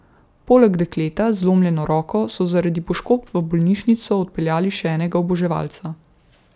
Poleg dekleta z zlomljeno roko so zaradi poškodb v bolnišnico odpeljali še enega oboževalca.